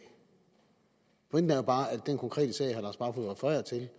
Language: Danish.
pointen er bare at i den konkrete sag herre lars barfoed refererer til